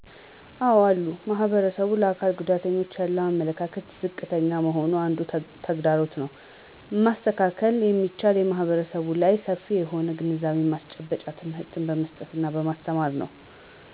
አዎ አሉ ማህበረሰቡ ለአካል ጉዳተኞች ያለው አመለካከት ዝቅተኛ መሆኑ አንዱ ተግዳሮት ነው። መስተካከል የሚችለው ማህረሰቡ ላይ ሰፊ የሆነ የግንዛቤ ማስጨበጫ ትምህርት በመስጠት እና በማስተማር ነው።